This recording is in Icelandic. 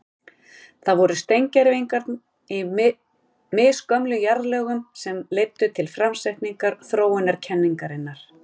Það voru steingervingar í misgömlum jarðlögum sem leiddu til framsetningar þróunarkenningarinnar.